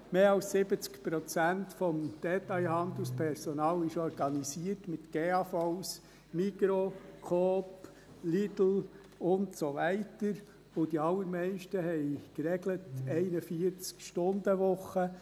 Mehr als 70 Prozent des Detailhandelspersonals ist mit Gesamtarbeitsvertrag (GAV) organisiert, Migros, Coop, Lidl und so weiter, und die allermeisten haben eine geregelte 41-Stundenwoche.